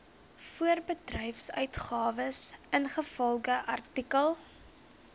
voorbedryfsuitgawes ingevolge artikel